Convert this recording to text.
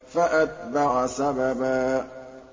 فَأَتْبَعَ سَبَبًا